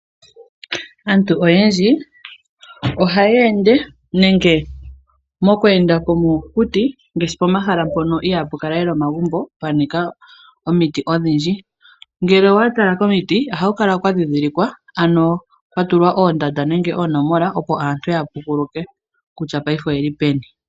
Aantu oyendji ohaya ende nenge mokweenda komokuti ngaashi pomahala mpono ihaapu kala lela omagumbo pwa nika omiti odhindji. Ngele owa tala komiti ohaku kala kwa ndhindhilikwa ano kwa tulwa oondanda nenge oonomola opo aantu ya pukuluke kutya paife oyeli peni.